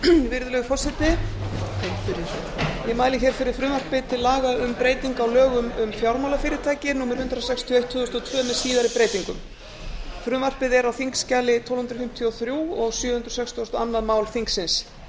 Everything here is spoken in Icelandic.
virðulegur forseti ég mæli hér fyrir frumvarpi til laga um breyting á lögum um fjármálafyrirtæki númer hundrað sextíu og eitt tvö þúsund og tvö með síðari breytingum frumvarpið er á þingskjali tólf hundruð fimmtíu og þrjú og sjö hundruð sextugustu og önnur mál þingsins